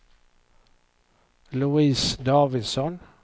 Louise Davidsson